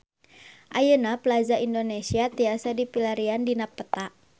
Ayeuna Plaza Indonesia tiasa dipilarian dina peta